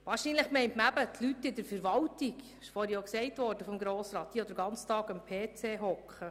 Wahrscheinlich sind damit die Leute aus der Verwaltung gemeint, die, wie Grossrat Brönnimann gesagt hat, den ganzen Tag am PC sitzen.